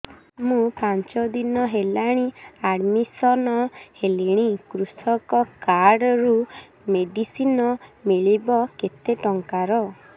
ମୁ ପାଞ୍ଚ ଦିନ ହେଲାଣି ଆଡ୍ମିଶନ ହେଲିଣି କୃଷକ କାର୍ଡ ରୁ ମେଡିସିନ ମିଳିବ କେତେ ଟଙ୍କାର